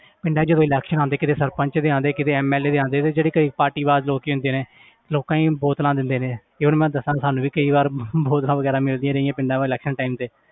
ਪਿੰਡਾਂ 'ਚ ਕੋਈ election ਆਉਂਦੇ ਕਦੇ ਸਰਪੰਚ ਦੇ ਆਉਂਦੇ ਕਦੇ MLA ਆਉਂਦੇ ਤੇ ਜਿਹੜੇ ਕਈ ਪਾਰਟੀਵਾਜ ਲੋਕ ਹੁੰਦੇ ਨੇ ਲੋਕ ਕਈ ਬੋਤਲਾਂ ਦਿੰਦੇ ਨੇ, ਕਈ ਵਾਰੀ ਮੈਂ ਦੱਸਾਂ ਸਾਨੂੰ ਵੀ ਕਈ ਵਾਰ ਬੋਤਲਾਂ ਵਗ਼ੈਰਾ ਮਿਲਦੀਆਂ ਰਹੀਆਂ ਪਿੰਡਾਂ ਦੇ election time ਤੇ